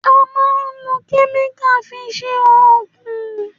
À mán lo kẹ́míkà fi sẹ ògún.